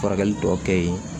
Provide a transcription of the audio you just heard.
Furakɛli tɔ kɛ yen